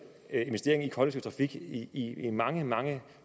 investering i kollektiv trafik i mange mange